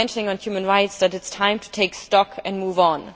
You mentioned, on human rights, that it is time to take stock and move on.